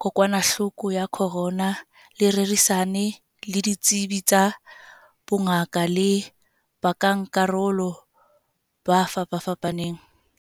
Kokwanahloko ya Corona le rerisane le ditsebi tsa bongaka le bankakarolo ba fapafapaneng.